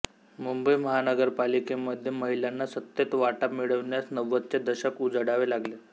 मुंबई महानगरपालिकेमध्ये महिलांना सत्तेत वाटा मिळण्यास नव्वदचे दशक उजाडावे लागले